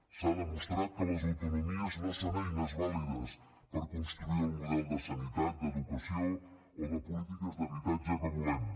s’ha demostrat que les autonomies no són eines vàlides per construir el model de sanitat d’educació o de polítiques d’habitatge que volem